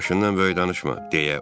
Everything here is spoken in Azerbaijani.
Başından böyük danışma.